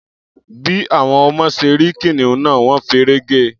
Bí àwọn ọmọ ṣe rí kìnìún náà, wọ́n feré ge.